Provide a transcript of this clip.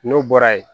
N'o bɔra ye